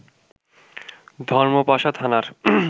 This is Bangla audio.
ধর্মপাশা থানার